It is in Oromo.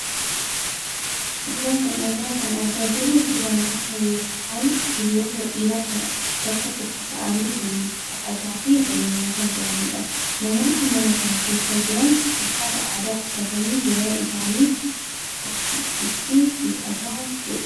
Suuraa kana irraa kan argaa jirru suuraa namoota yookaan hiriyoota dhiiraa kan bakka tokko taa'anii waliin taphataa fi waliin nyaataa jiranidha. Namoonni mana kana keessa jiran uffata aadaa uffatanii hiriyaa isaanii gurshuuf itti hiixataa jiru.